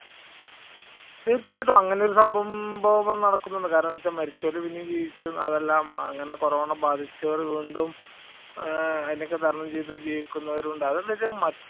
തീർച്ചയായിട്ടും അങ്ങനെയൊരു സംഭവം നടക്കുന്നുണ്ട്. കാരണംവച്ച മരിച്ചവരെ പിന്നെ ജീവിച്ച് അതെല്ലാം അങ്ങനെ കൊറോണ ബാധിച്ചവര് കൊണ്ടും അതിനെയൊക്കെ തരണം ചെയ്ത് ജീവിക്കുന്നവരഉണ്ട് അതെന്നുവച്ച മറ്റു